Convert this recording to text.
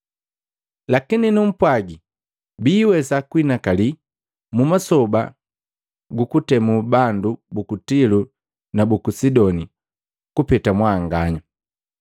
Lakini numpwagi, biiwesa kuhinakali mu masoba gukutemu bandu buku Tilo na buku Sidoni kupeta mwanganya.